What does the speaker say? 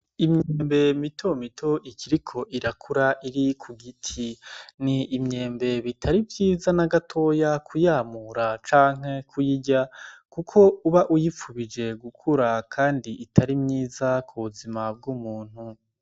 Imyembe mitomito ikiriko irakura iri ku giti n'imyembe bitari vyiza n'agatoya kuyamura canke kuyirya kuko uba uyipfubije gukura kandi itari myiza ku buzima bw'umuntu.